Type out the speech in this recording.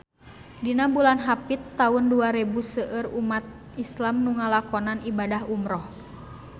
Dina bulan Hapit taun dua rebu seueur umat islam nu ngalakonan ibadah umrah